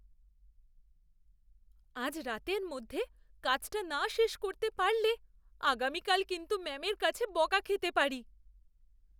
আজ রাতের মধ্যে কাজটা না শেষ করতে পারলে আগামীকাল কিন্তু ম্যামের কাছে বকা খেতে পারি।